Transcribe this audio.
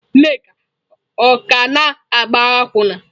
Nneka ọ ka na-agba akwụna?